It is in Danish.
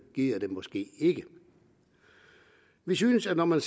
gider det måske ikke vi synes at når man